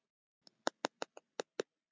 Ég er ekki frá því að hann sé nokkuð líkur mér.